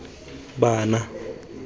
bana